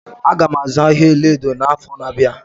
Aga m azụ ahịa ọlaedo n'afọ na-abịa.